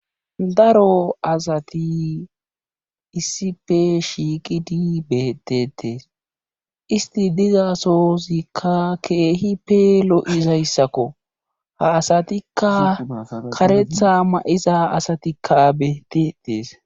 Daro asati issife shiiqidi beetteetes istti dizassoozikka keehippe lo7izayssako ha asatikka kareetha ma7iza asatikka beeteettes.